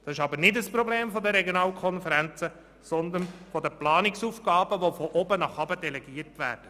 Dies ist aber kein Problem der Regionalkonferenzen, sondern der Planungsaufgaben, die von oben nach unten delegiert werden.